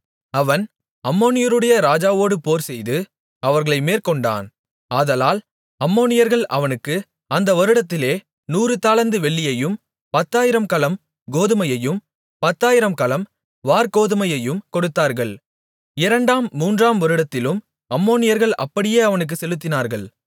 அவன் அம்மோனியருடைய ராஜாவோடு போர்செய்து அவர்களை மேற்கொண்டான் ஆதலால் அம்மோனியர்கள் அவனுக்கு அந்த வருடத்திலே நூறு தாலந்து வெள்ளியையும் பத்தாயிரம் கலம் கோதுமையையும் பத்தாயிரம் கலம் வாற்கோதுமையையும் கொடுத்தார்கள் இரண்டாம் மூன்றாம் வருடத்திலும் அம்மோனியர்கள் அப்படியே அவனுக்கு செலுத்தினார்கள்